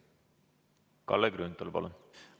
Kalle Grünthal, palun!